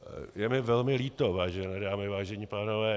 Je mi velmi líto, vážené dámy, vážení pánové.